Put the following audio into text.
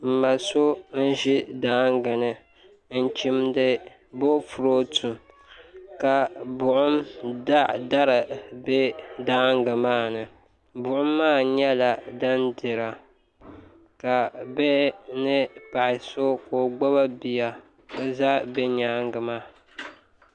N ma so n ʒi daangi ni n chimdi boofurooto ka buɣum dari bɛ danngi maa ni buɣum maa nyɛla din dira ka bihi ni paɣa so ka o gbubi bia n ʒɛ bi nyaanga maa